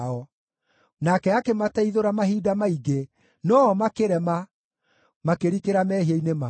Nake akĩmateithũra mahinda maingĩ, no-o makĩrema, makĩrikĩra mehia-inĩ mao.